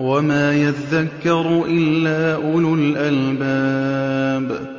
وَمَا يَذَّكَّرُ إِلَّا أُولُو الْأَلْبَابِ